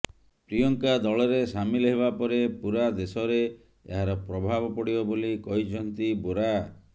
ପ୍ରିୟଙ୍କା ଦଳରେ ସାମିଲ ହେବାପରେ ପୁରା ଦେଶରେ ଏହାର ପ୍ରଭାବ ପଡିବ ବୋଲି କହିଛନ୍ତି ବୋରା